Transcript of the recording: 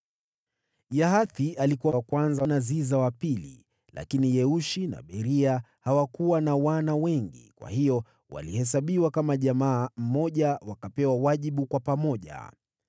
Yahathi alikuwa wa kwanza na Ziza wa pili, lakini Yeushi na Beria hawakuwa na wana wengi; kwa hiyo walihesabiwa kama jamaa moja, wakapewa wajibu kwa pamoja.